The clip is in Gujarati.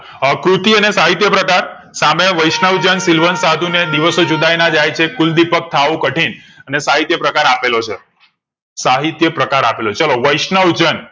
અ કૃતિઓ ને સાહિત્યકાર સામે વૈષ્ણવજન શીલવંત સાધુ ને દિવસો જુદાઈ ના જાય છે. કુલદીપક થાઓ કઠિન અને સાહિત્ય પ્રકાર આપેલો છે સાહિત્ય પ્રકાર આપેલો છે ચાલો વૈષ્ણવજન